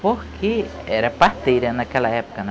Porque era parteira naquela época.